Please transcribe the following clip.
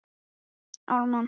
Sólveig: Hvernig líst þér á það?